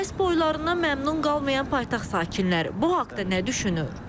Bəs boylarından məmnun qalmayan paytaxt sakinləri bu haqda nə düşünür?